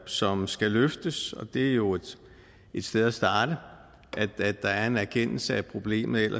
som skal løftes og det er jo et sted at starte at der er en erkendelse af problemet